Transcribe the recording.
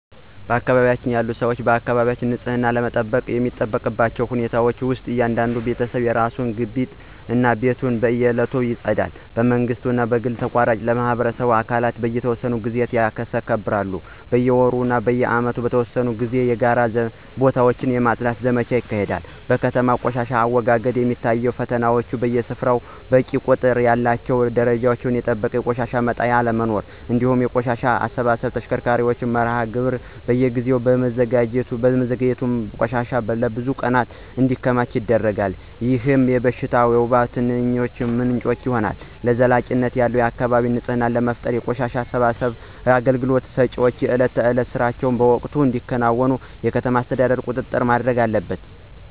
በአካባቢዬ ያሉ ሰዎች አካባቢያቸውን በንጽህና ለመጠበቅ የሚጠቀሙባቸው ሁኔታዎች ውስጥ እያንዳንዱ ቤተሰብ የራሱን ግቢ እና ቤቱን በየዕለቱ ያጸዳል። በመንግሥት ወይም በግል ተቋራጮች ለሚሰበስቡ አካላት በየተወሰነ ጊዜ ያስረክባሉ። በየወሩ ወይም በዓመት በተወሰኑ ጊዜያት የጋራ ቦታዎችን የማፅዳት ዘመቻዎች ይካሄዳሉ። በከተማ ቆሻሻ አወጋገድ ላይ የሚታዩት ፈተናዎች በየሰፈሩ በቂ ቁጥር ያላቸውና ደረጃቸውን የጠበቁ የቆሻሻ መጣያ አለመኖር፤ እንዲሁም የቆሻሻ አሰባሰብ ተሽከርካሪዎች መርሃ ግብር በየጊዜው በመዘግየቱ ቆሻሻ ለብዙ ቀናት እንዲከማች ያደርጋል፣ ይህም የሽታና የወባ ትንኝ ምንጭ ይሆናል። ዘላቂነት ያለው የአካባቢ ንፅህና ለመፍጠር የቆሻሻ አሰባሰብ አገልግሎት ሰጪዎች የዕለት ተዕለት ሥራቸውን በወቅቱ እንዲያከናውኑ የከተማ አስተዳደሩ ቁጥጥር ማድረግ አለበት።